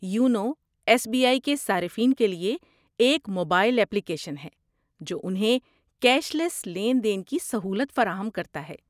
YONO S B I کے صارفین کے لیے ایک موبائل ایپلیکیشن ہے جو انہیں کیش لیس لین دین کی سہولت فراہم کرتا ہے۔